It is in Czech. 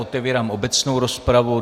Otevírám obecnou rozpravu.